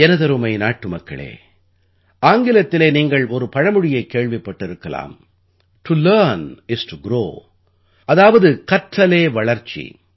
எனதருமை நாட்டுமக்களே ஆங்கிலத்திலே நீங்கள் ஒரு பழமொழியைக் கேள்விப்பட்டிருக்கலாம் to learn is to grow அதாவது கற்றலே வளர்ச்சி